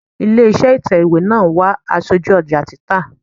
Ilé iṣẹ́ ìtẹ̀wẹ́ náà ń wá aṣojú ọjà títà.